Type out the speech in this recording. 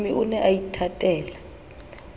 mohlomi o ne a ithatela